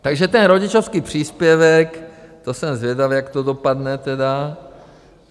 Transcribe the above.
Takže ten rodičovský příspěvek, to jsem zvědav, jak to dopadne tedy.